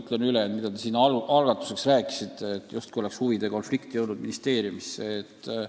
Pean silmas seda, mida te siin algatuseks rääkisite, justkui oleks huvide konflikt ministeeriumisse jõudnud.